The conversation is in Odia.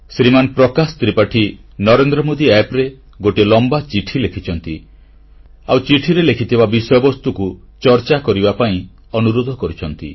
ଶ୍ରୀମାନ ପ୍ରକାଶ ତ୍ରିପାଠୀ ନରେନ୍ଦ୍ରମୋଦୀ ଆପ୍ ରେ ଗୋଟିଏ ଲମ୍ବା ଚିଠି ଲେଖିଛନ୍ତି ଆଉ ଚିଠିରେ ଲେଖିଥିବା ବିଷୟବସ୍ତୁକୁ ଚର୍ଚ୍ଚା କରିବା ପାଇଁ ଅନୁରୋଧ କରିଛନ୍ତି